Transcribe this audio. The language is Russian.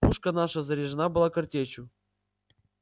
пушка наша заряжена была картечью